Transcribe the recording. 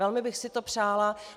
Velmi bych si to přála.